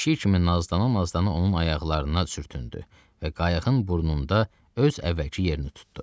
Pişik kimi nazlana-nazlana onun ayaqlarına sürtündü və qayığın burnunda öz əvvəlki yerini tutdu.